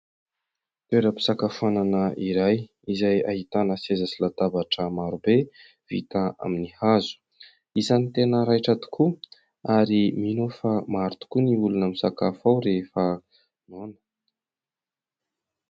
Toeram-pisakafoanana iray izay ahitana seza sy latabatra maro be vita amin'ny hazo. Isany tena raitra tokoa ary mino aho fa maro tokoa ny olona misakafo ao rehefa noana.